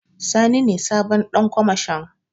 Sani ne sabon Ɗan kwamashon.